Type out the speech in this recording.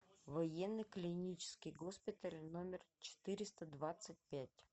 военный клинический госпиталь номер четыреста двадцать пять